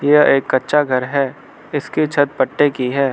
यह एक कच्चा घर है इसकी छत पट्टे की है।